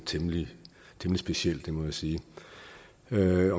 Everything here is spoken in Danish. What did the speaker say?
temmelig specielt det må jeg sige med